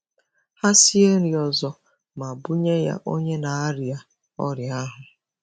Ha sie nri ọzọ ma bunye ya onye na-arịa ọrịa ahụ.